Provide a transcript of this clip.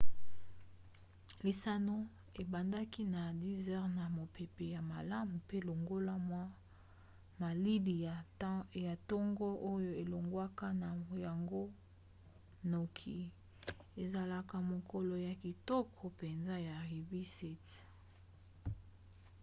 lisano ebandaki na 10h00 na mopepe ya malamu pe longola mwa malili ya ntongo oyo elongwaka na yango noki ezalaka mokolo ya kitoko mpenza ya rugby 7